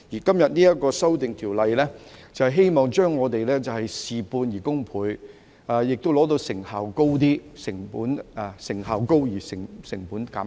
今天這項修訂條例草案，是希望我們事半功倍，亦做到成效高而成本減低。